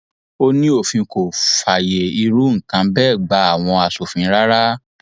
ó ní òfin kò fààyè irú nǹkan bẹẹ gba àwọn aṣòfin rárá